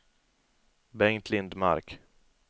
Bengt Lindmark